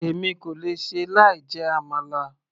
èmi kò lè ṣe láì jẹ àmàlà